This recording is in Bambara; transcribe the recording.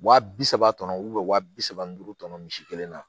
Wa bi saba kɔnɔ wa bi saba ni duuru tɔmɔɔn kelen na